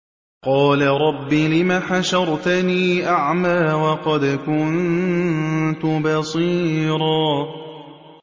قَالَ رَبِّ لِمَ حَشَرْتَنِي أَعْمَىٰ وَقَدْ كُنتُ بَصِيرًا